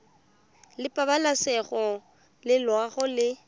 la pabalesego le loago e